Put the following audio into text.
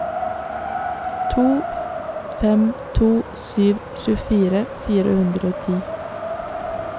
to fem to sju tjuefire fire hundre og ti